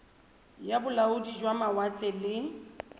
ya bolaodi jwa mawatle le